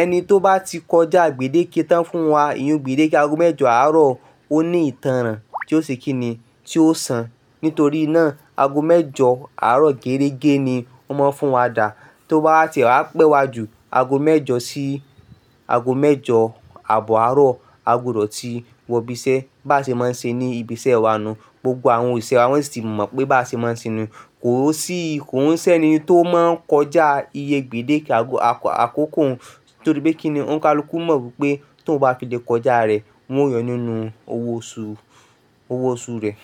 ẹni tó bá ti kọjá gbèdéke tán fún wa, ìyun gbèdéke ago mẹ́jọ àárọ̀ ó ní ìtànràn tí ó ṣe kíni, tí ó san. Nítorí náà, ago mẹ́jọ àárọ̀ gẹ́rẹ́gẹ́ ni ó máa ń fún wa dà. Tó bá wa tiẹ̀ wá pẹ́ wá ju ago mẹ́jọ sí ago mẹ́jọ àbọ̀ àárọ̀, a gbudọ̀ ti wọ ibi iṣẹ́, bá ṣe máa ń ṣe ní ibi iṣẹ́ wa nu un. Gbogbo àwọn òṣìṣẹ́ wa won sì ti mọ̀ pé báa ṣe máa ń ṣe nu un. Kò o sí, kò ń ṣẹ́ni tó máa ń kọjá iyé gbèdéke àkọ́kọ́ un, nítorí pé kíni ó ońi kalukù mọ̀ wípé tí òun bá ti lè kọjá rẹ̀, wọn o yóò nínú owó oṣù, owó oṣù rẹ̀.